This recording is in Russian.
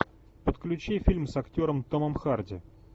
подключи фильм с актером томом харди